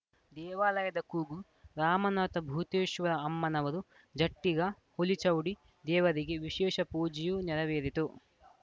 ದೇವಾಲಯದ ಕೂಗು ರಾಮನಾಥ ಭೂತೇಶ್ವರ ಅಮ್ಮನವರು ಜಟ್ಟಿಗ ಹುಲಿಚೌಡಿ ದೇವರಿಗೆ ವಿಶೇಷ ಪೂಜೆಯೂ ನೆರವೇರಿತು